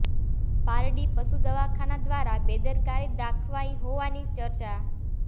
પારડી પશુ દવાખાના દ્વારા બેદરકારી દાખવાઈ હોવાની ચર્ચા